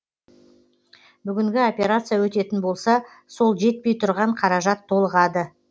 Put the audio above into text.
бүгінгі операция өтетін болса сол жетпей тұрған қаражат толығады